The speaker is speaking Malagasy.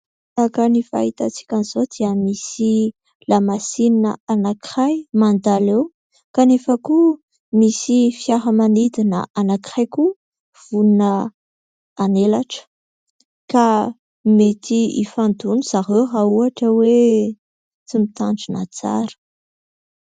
Araka ny fahitantsika azy izao dia misy lamasinina anankiray mandalo eo kanefa koa misy fiaramanidina anankiray koa vonona anelatra ka mety ifandona zareo raha ohatra hoe tsy mitandrina tsara.